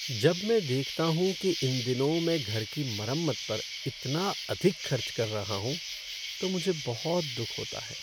जब मैं देखता हूँ कि इन दिनों मैं घर की मरम्मत पर इतना अधिक खर्च कर रहा हूँ तो मुझे बहुत दुख होता है।